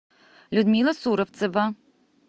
людмила суровцева